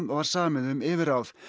var samið um yfirráð